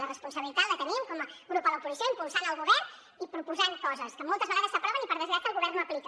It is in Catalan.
la responsabilitat la tenim com a grup a l’oposició impulsant el govern i proposant coses que moltes vegades s’aproven i per desgràcia el govern no aplica